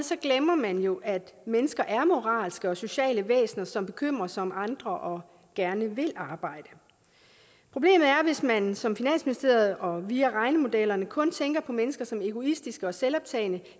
glemmer man jo at mennesker er moralske og sociale væsener som bekymrer sig om andre og gerne vil arbejde problemet er at hvis man som finansministeriet og via regnemodellerne kun tænker på mennesker som egoistiske og selvoptagede